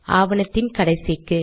ஆவணத்தின் கடைசிக்கு